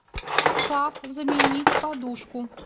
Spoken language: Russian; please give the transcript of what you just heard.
как заменить подушку